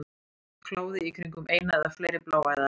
Kláði í kringum eina eða fleiri bláæðar.